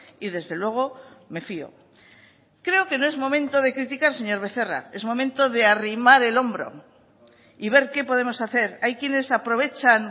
y desde luego me fio creo que no es momento de criticar señor becerra es momento de arrimar el hombro y ver qué podemos hacer hay quienes aprovechan